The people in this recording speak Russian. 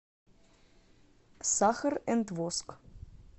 сахар энд воск